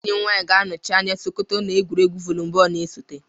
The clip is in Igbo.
Enyi m nwanyi ga-anọchi anya sokoto na egwuregwu vuli bọọlụ na-esote.